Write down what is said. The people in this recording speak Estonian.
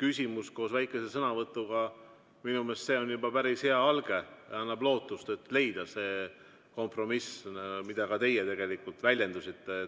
küsimus koos väikese sõnavõtuga on minu meelest juba päris hea alge ja annab lootust, et leida see kompromiss, mida ka teie tegelikult väljendasite.